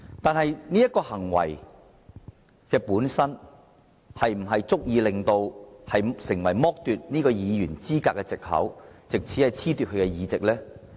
但這種行為本身是否足以成為剝奪其議員資格的藉口，藉此褫奪其議席呢？